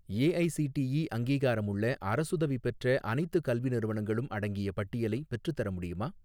AICTE அங்கீகாரமுள்ள அரசுதவி பெற்ற அனைத்துக் கல்வி நிறுவனங்களும் அடங்கிய பட்டியலை பெற்றுத்தர முடியுமா?